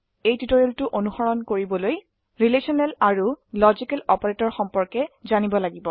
টিউটোৰিয়ালটি অনুসৰণ কৰিবলৈ ৰিলেশনাল আৰু লজিক্যাল অপাৰেটৰ সম্পৰ্কে জানিব লাগিব